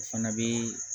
O fana bɛ